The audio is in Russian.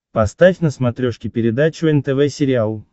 поставь на смотрешке передачу нтв сериал